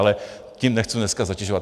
Ale tím nechci dneska zatěžovat.